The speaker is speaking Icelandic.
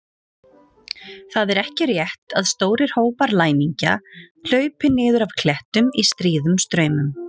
Það er ekki rétt að stórir hópar læmingja hlaupi niður af klettum í stríðum straumum.